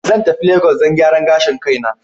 Zan tafi lagos don gyaran gashin kaina.